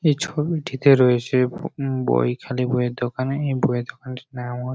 এই ছবিটিতে রয়েছে বই খালি বইয়ের দোকানে এই বই এর দোকানের নাম হো--